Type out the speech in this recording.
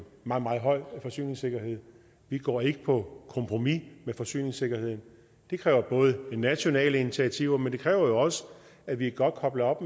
meget meget høj forsyningssikkerhed vi går ikke på kompromis med forsyningssikkerheden det kræver nationale initiativer men det kræver jo også at vi er godt koblet op